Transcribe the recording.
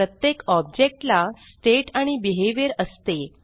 प्रत्येक ऑब्जेक्ट ला स्टेट आणि बिहेव्हियर असते